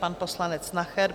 Pan poslanec Nacher.